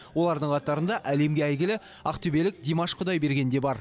олардың қатарында әлемге әйгілі ақтөбелік димаш құдайберген де бар